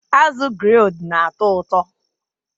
Azụ grilled na-atọ ụtọ